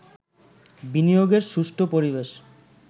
বিনিয়োগের সুষ্ঠু পরিবেশ